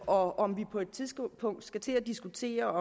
og om vi på et tidspunkt skal til at diskutere